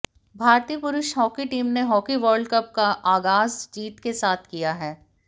भारतीय पुरुष hockey team ने हॉकी वर्ल्डकप का आगाज जीत के साथ किया है